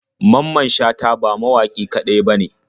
Mamman shata ba mawaƙi kaɗai bane.